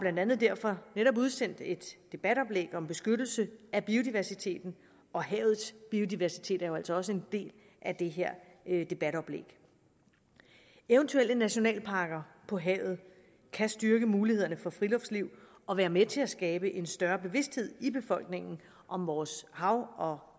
blandt andet derfor netop udsendt et debatoplæg om beskyttelse af biodiversiteten og havets biodiversitet er jo altså også en del af det her debatoplæg eventuelle nationalparker på havet kan styrke mulighederne for friluftsliv og være med til at skabe en større bevidsthed i befolkningen om vores hav og